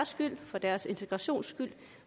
skyld for deres integrations skyld